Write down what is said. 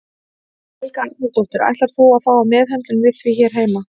Helga Arnardóttir: Ætlar þú að fá meðhöndlun við því hér heima?